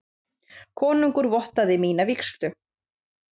Konungur vottaði mína vígslu.